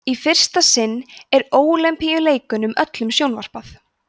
í fyrsta sinn er ólympíuleikunum öllum sjónvarpað